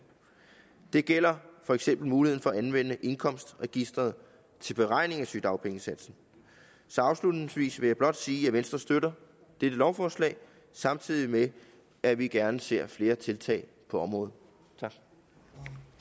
det gælder for eksempel muligheden for at anvende indkomstregisteret til beregning af sygedagpengesatsen så afslutningsvis vil jeg blot sige at venstre støtter dette lovforslag samtidig med at vi gerne ser flere tiltag på området